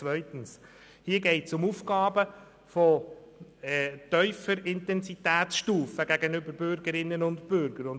Zweitens geht es um Aufgaben von tiefer Intensitätsstufe gegenüber Bürgerinnen und Bürgern.